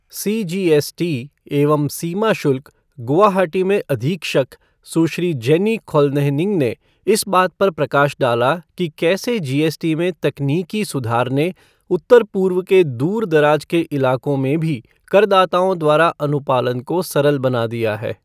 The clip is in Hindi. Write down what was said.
सीजीएसटी एवं सीमा शुल्क, गुवाहाटी में अधीक्षक सुश्री जेन्नी खॉलनेहनिंग ने इस बात पर प्रकाश डाला कि कैसे जीएसटी में तकनीकी सुधार ने उत्तर पूर्व के दूरदराज के इलाकों में भी करदाताओं द्वारा अनुपालन को सरल बना दिया है।